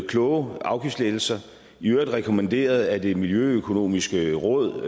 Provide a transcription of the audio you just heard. kloge afgiftslettelser i øvrigt rekommanderet af det miljøøkonomiske råd